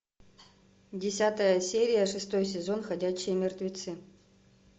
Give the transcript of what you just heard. десятая серия шестой сезон ходячие мертвецы